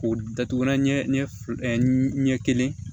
K'o datugu ɲɛ fila ɛ ɲɛ kelen